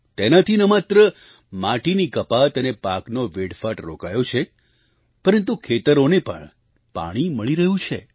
તેનાથી ન માત્ર માટીની કપાત અને પાકનો વેડફાટ રોકાયો છે પરંતુ ખેતરોને પણ પાણી મળી રહ્યું છે